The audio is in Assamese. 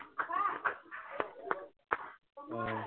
অ